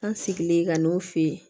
An sigilen ka n'o fɛ yen